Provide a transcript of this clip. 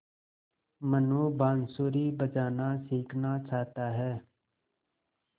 मनु बाँसुरी बजाना सीखना चाहता है